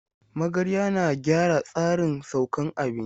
Magarya na gyara tsarin saukan abinci.